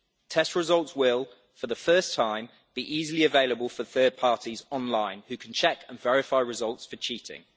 Test results will, for the first time, be easily available for third parties online, who can check and verify results for cheating.